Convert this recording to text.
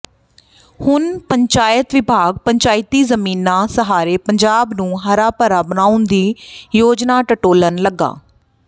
ਹੁਣ ਪੰਚਾਇਤ ਵਿਭਾਗ ਪੰਚਾਇਤੀ ਜ਼ਮੀਨਾਂ ਸਹਾਰੇ ਪੰਜਾਬ ਨੂੰ ਹਰਾ ਭਰਾ ਬਣਾਉਣ ਦੀ ਯੋਜਨਾ ਟਟੋਲਣ ਲੱਗਾ